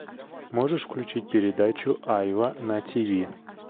можешь включить передачу айва на тиви